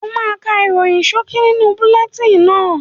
O máa ká ìròyìn ṣókí nínú bulẹtíìnì náà.